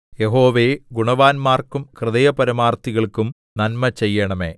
യഹോവേ ഗുണവാന്മാർക്കും ഹൃദയപരമാർത്ഥികൾക്കും നന്മ ചെയ്യണമേ